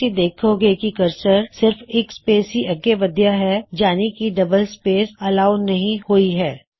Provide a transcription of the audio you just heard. ਤੂਸੀਂ ਦੇਖੋਂਗੇਂ ਕੀ ਕਰਸਰ ਸਿਰਫ ਇੱਕ ਸਪੇਸ ਹੀ ਅੱਗੇ ਵਧਿਆ ਹੈ ਯਾਨੀ ਕੀ ਡਅੱਬਲ ਸਪੇਸ ਅਲਾਓ ਨਹੀ ਹੋਈ ਹੈ